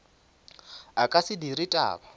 a ka se dire taba